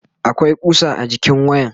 akwai kusa a jikin wayan